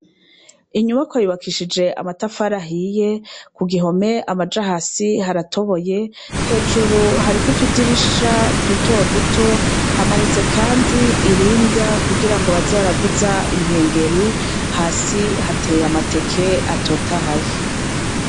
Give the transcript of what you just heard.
Inyumako yubakishije amatafari zhiye ku gihome amaja hasi haratoboye hejuru harikutudirisha duto duto hamanitse, kandi iringa kugira ngo bazaravuza inkengeri hasi hateye amateke atotahaye.